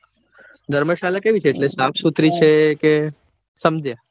ધર્મશાળા કેવી છે એટલે સાફ સુથરી છે કે સમજ્યા